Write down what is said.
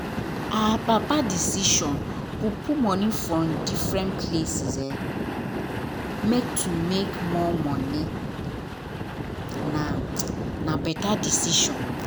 our papa decision to put money for different places make to make more money na na better decision